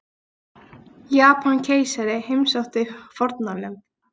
Japanskeisari heimsótti fórnarlömb